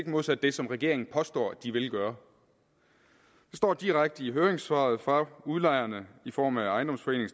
modsat det som regeringen påstår de vil gøre det står direkte i høringssvaret fra udlejerne i form af ejendomsforeningen